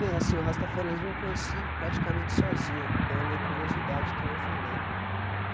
Bem, assim, o Rastafaranismo eu conheci praticamente sozinho, pela minha curiosidade que nem eu falei.